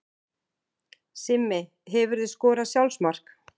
Simmi Hefurðu skorað sjálfsmark?